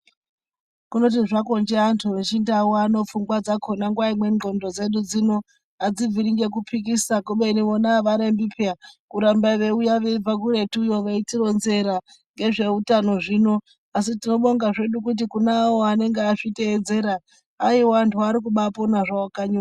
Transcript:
Kundoti zvakonje antu echindau pfungwa dzakona nguwa imweni ndxondo dzedu dzino adzibviri ngekupikisa kubeni vona avarembi peya kuramba veiuya veibva kuretuyo veitironzera ngezveutano zvino asi tinobonga zvedu kuti kune avo vanenge vazviteedzera aiwa vantu varikubapona zvawo kanyi.